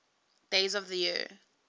days of the year